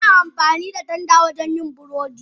Ana amfani da tanda wajen yin burodi.